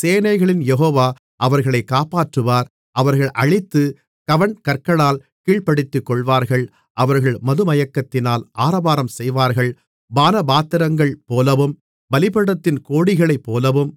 சேனைகளின் யெகோவா அவர்களைக் காப்பாற்றுவார் அவர்கள் அழித்து கவண்கற்களால் கீழ்ப்படுத்திக்கொள்வார்கள் அவர்கள் மதுமயக்கத்தினால் ஆரவாரம் செய்வார்கள் பானபாத்திரங்கள்போலவும் பலிபீடத்தின் கோடிகளைப்போலவும்